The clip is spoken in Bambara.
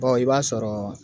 i b'a sɔrɔ